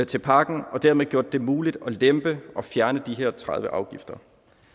til pakken og dermed gjort det muligt at lempe og fjerne tredive afgifter